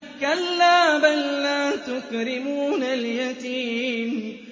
كَلَّا ۖ بَل لَّا تُكْرِمُونَ الْيَتِيمَ